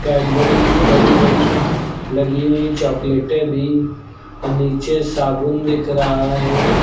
Cadbury की बड़ी बड़ी लगी हुई चॉकलेटे भी और नीचे साबुन दिख रहा है।